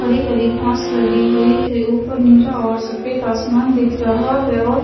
हरी हरी घास लगी हुई है ऊपर नीला और सफेद आसमान दिख रहा है और--